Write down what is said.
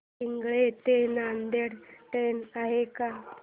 पिंगळी ते नांदेड ट्रेन आहे का